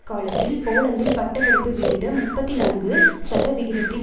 காலத்தில் போலந்தில் பட்ட படிப்பு விகிதம் முப்பத்தி நான்கு சதவிகிதத்தில்